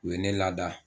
U ye ne lada